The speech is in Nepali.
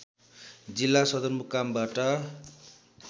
जिल्ला सदरमुकामबाट